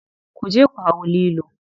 Kuje ku hau lilo.